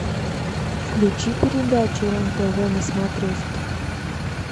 включи передачу рен тв на смотрешке